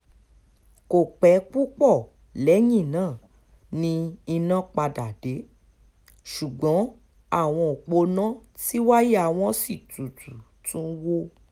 kò pẹ́ púpọ̀ lẹ́yìn náà ni iná padà dé ṣùgbọ́n àwọn òpó iná tí wáyà wọn sì tutù tún wò